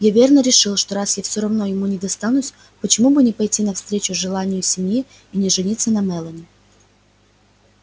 и верно решил что раз я все равно ему не достанусь почему бы не пойти навстречу желанию семьи и не жениться на мелани